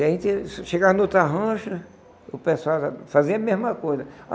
A gente chegava em outra rancha, o pessoal lá fazia a mesma coisa.